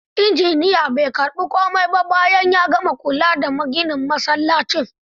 Injiniyan bai karbi komai ba bayan ya gama kula da ginin msallacin.